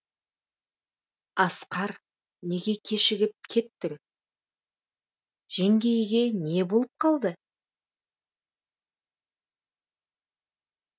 асқар неге кешігіп кеттің жеңгейге не болып қалды